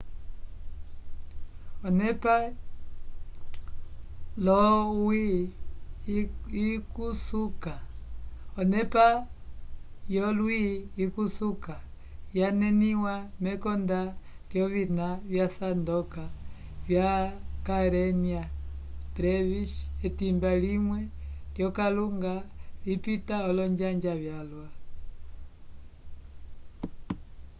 onepa yolwi ikusuka yaneniwa mekonda lyovina vyasandoka vya karenia brevis etimba limwe lyokalunga lipita olonjanja vyalwa